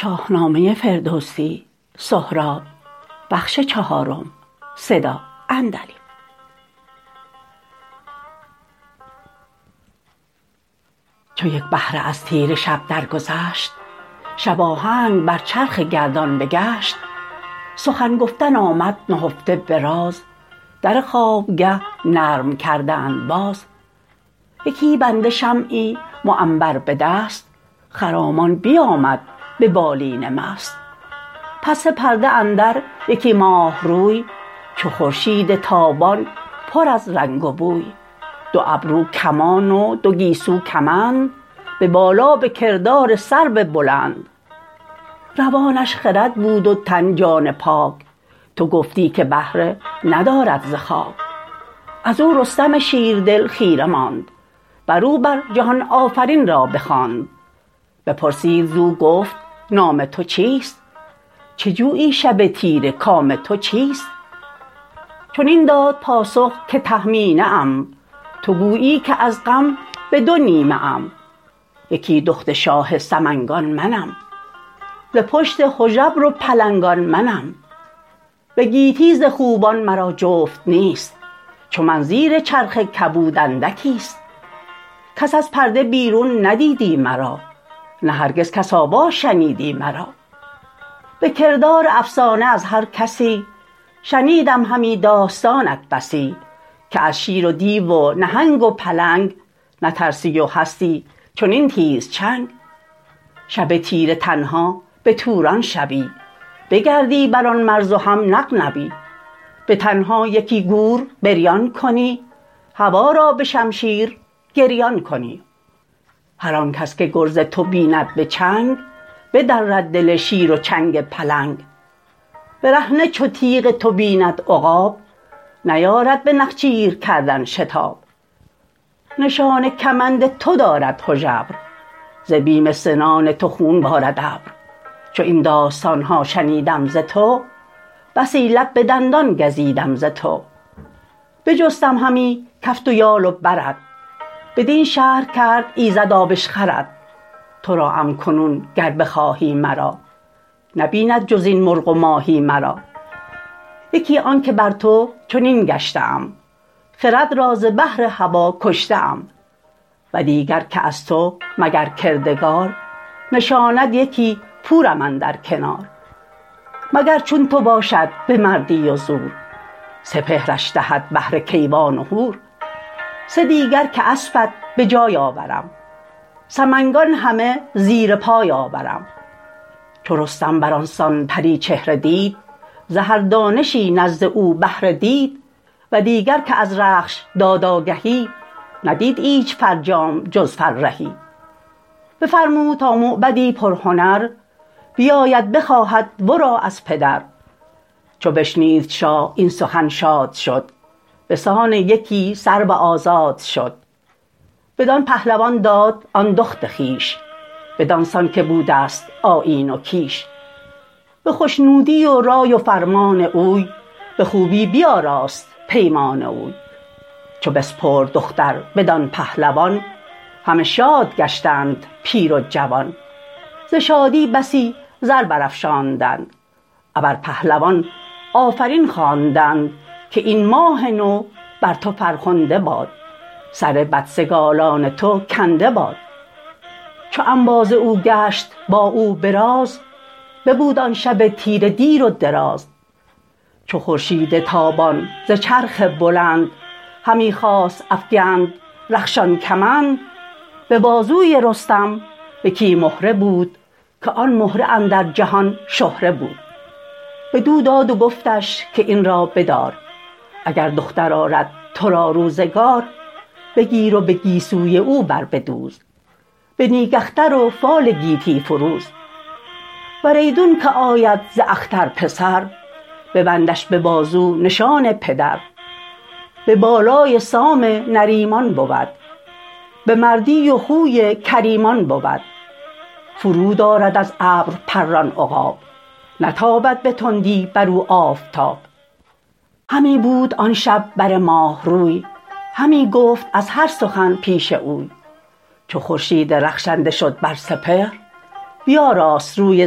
چو یک بهره از تیره شب در گذشت شباهنگ بر چرخ گردان بگشت سخن گفتن آمد نهفته به راز در خوابگه نرم کردند باز یکی بنده شمعی معنبر به دست خرامان بیامد به بالین مست پس پرده اندر یکی ماه روی چو خورشید تابان پر از رنگ و بوی دو ابرو کمان و دو گیسو کمند به بالا به کردار سرو بلند روانش خرد بود تن جان پاک تو گفتی که بهره ندارد ز خاک از او رستم شیردل خیره ماند بر او بر جهان آفرین را بخواند بپرسید زو گفت نام تو چیست چه جویی شب تیره کام تو چیست چنین داد پاسخ که تهمینه ام تو گویی که از غم به دو نیمه ام یکی دخت شاه سمنگان منم ز پشت هژبر و پلنگان منم به گیتی ز خوبان مرا جفت نیست چو من زیر چرخ کبود اندکیست کس از پرده بیرون ندیدی مرا نه هرگز کس آوا شنیدی مرا به کردار افسانه از هر کسی شنیدم همی داستانت بسی که از شیر و دیو و نهنگ و پلنگ نترسی و هستی چنین تیزچنگ شب تیره تنها به توران شوی بگردی بر آن مرز و هم نغنوی به تنها یکی گور بریان کنی هوا را به شمشیر گریان کنی هرآنکس که گرز تو بیند به چنگ بدرد دل شیر و چنگ پلنگ برهنه چو تیغ تو بیند عقاب نیارد به نخچیر کردن شتاب نشان کمند تو دارد هژبر ز بیم سنان تو خون بارد ابر چو این داستانها شنیدم ز تو بسی لب به دندان گزیدم ز تو بجستم همی کفت و یال و برت بدین شهر کرد ایزد آبشخورت ترا ام کنون گر بخواهی مرا نبیند جزین مرغ و ماهی مرا یکی آنک بر تو چنین گشته ام خرد را ز بهر هوا کشته ام ودیگر که از تو مگر کردگار نشاند یکی پورم اندر کنار مگر چون تو باشد به مردی و زور سپهرش دهد بهره کیوان و هور سه دیگر که اسپت به جای آورم سمنگان همه زیر پای آورم چو رستم برانسان پری چهره دید ز هر دانشی نزد او بهره دید و دیگر که از رخش داد آگهی ندید ایچ فرجام جز فرهی بفرمود تا موبدی پرهنر بیاید بخواهد ورا از پدر چو بشنید شاه این سخن شاد شد بسان یکی سرو آزاد شد بدان پهلوان داد آن دخت خویش بدان سان که بودست آیین و کیش به خشنودی و رای و فرمان اوی به خوبی بیاراست پیمان اوی چو بسپرد دختر بدان پهلوان همه شاد گشتند پیر و جوان ز شادی بسی زر برافشاندند ابر پهلوان آفرین خواندند که این ماه نو بر تو فرخنده باد سر بدسگالان تو کنده باد چو انباز او گشت با او براز ببود آن شب تیره دیر و دراز چو خورشید تابان ز چرخ بلند همی خواست افگند رخشان کمند به بازوی رستم یکی مهره بود که آن مهره اندر جهان شهره بود بدو داد و گفتش که این را بدار اگر دختر آرد ترا روزگار بگیر و بگیسوی او بر بدوز به نیک اختر و فال گیتی فروز ور ایدونک آید ز اختر پسر ببندش ببازو نشان پدر به بالای سام نریمان بود به مردی و خوی کریمان بود فرود آرد از ابر پران عقاب نتابد به تندی بر او آفتاب همی بود آن شب بر ماه روی همی گفت از هر سخن پیش اوی چو خورشید رخشنده شد بر سپهر بیاراست روی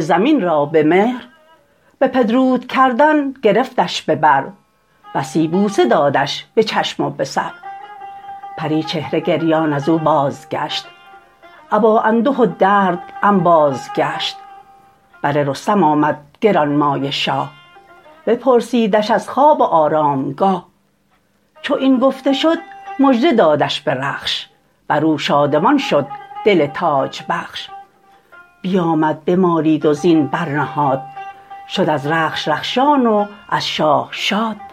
زمین را به مهر به پدرود کردن گرفتش به بر بسی بوسه دادش به چشم و به سر پری چهره گریان ازو بازگشت ابا انده و درد انباز گشت بر رستم آمد گرانمایه شاه بپرسیدش از خواب و آرامگاه چو این گفته شد مژده دادش به رخش برو شادمان شد دل تاج بخش بیامد بمالید و زین برنهاد شد از رخش رخشان و از شاه شاد